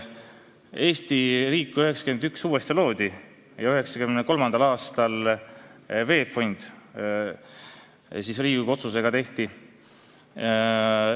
Eesti riik loodi uuesti 1991. aastal ja 1993. aastal moodustati Riigikogu otsusega VEB Fond.